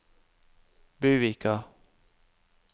Buvika